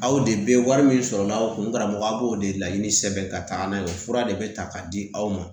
Aw de bɛ wari min sɔrɔ aw kun karamɔgɔ a b'o de laɲini sɛbɛn ka taga n'a ye o fura de bɛ ta k'a di aw ma